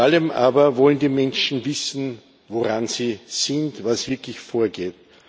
Vor allem aber wollen die Menschen wissen, woran sie sind, was wirklich vorgeht.